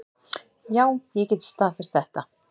Já, ég get staðfest þetta.